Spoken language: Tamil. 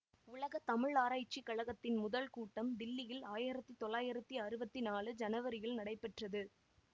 உலக தமிழாராய்ச்சிக் கழகத்தின் முதல் கூட்டம் தில்லியில் ஆயிரத்தி தொள்ளாயிரத்தி அறுபத்தி நாழூ சனவரியில் நடைபெற்றது